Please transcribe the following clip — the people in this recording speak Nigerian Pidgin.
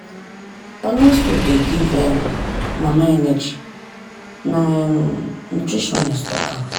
balanced food dey give um mama energy na um nutritionist talk am.